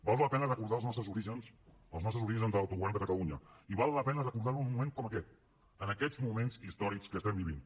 val la pena recordar els nostres orígens els nostres orígens doncs en l’autogovern de catalunya i val la pena recordar ho en un moment com aquest en aquests moments històrics que estem vivint